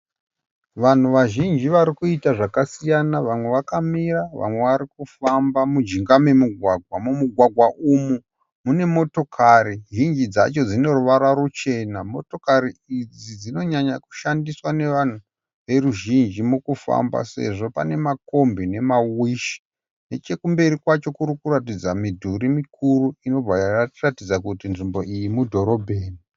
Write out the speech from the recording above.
Vanhu vazhinji varikuita zvakasiyana, vamwe vakamira vamwe varikufamba mujinga memugwagwa. Mumugwagwa umu mune motokari zhinji dzacho dzineruvara ruchena. Motokari idzi dzinonyanya kushandiswa nevanhu veruzhinji mukufamba, sezvo paine makombi nemawishi. Nechekumberi kwacho kurikuratidza midhuri mikuru inobva yatiratidza kuti nzvimbo iyi mudhorobheni.